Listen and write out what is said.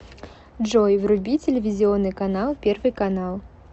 джой вруби телевизионный канал первый канал